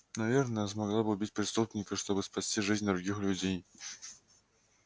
наверное она смогла бы убить преступника чтобы спасти жизнь других людей